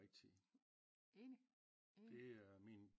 Rigtige det er min